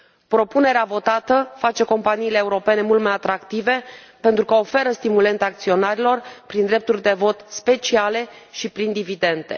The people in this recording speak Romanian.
Propunerea votată face companiile europene mult mai atractive pentru că oferă stimulente acționarilor prin drepturi de vot speciale și prin dividende.